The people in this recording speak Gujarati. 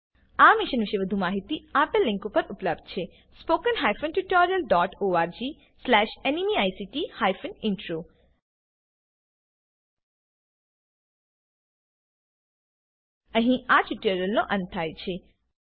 આ મિશન પર વધુ માહિતી આપેલ લીંક પર ઉપલબ્ધ છે httpspoken tutorialorgNMEICT intro અહીં આ ટ્યુટોરીયલનો અંત થાય છે